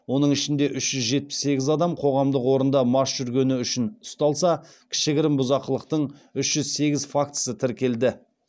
оның ішінде үш жетпіс сегіз адам қоғамдық орында мас жүргені үшін ұсталса кішігірім бұзақылықтың үш жүз сегіз фактісі тіркелді